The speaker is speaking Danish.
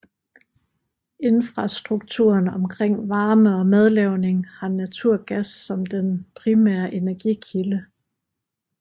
Infrastrukturen omkring varme og madlavning har naturgas som den primære energikilde